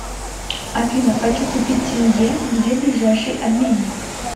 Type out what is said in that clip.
афина хочу купить тенге где ближайший обменник